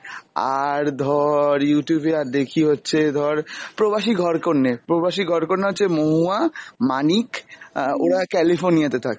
আর ধর Youtube এ আর দেখি হচ্ছে ধর প্রবাসী ঘরকন্ন্যে। প্রবাসী ঘরকন্ন্যা হচ্ছে মহুয়া, মানিক অ্যাঁ ওরা California তে থাকে